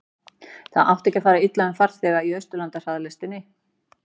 það átti ekki að fara illa um farþega í austurlandahraðlestinni